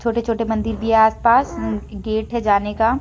छोटे छोटे मंदिर भी हैं आस पास गेट हैं जाने का।